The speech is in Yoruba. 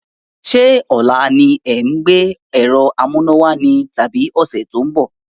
Sé ọ̀la ni ẹ̀ ń gbé ẹ̀rọ amúnáwá ni tàbí ọ̀sẹ̀ tó ń bọ̀?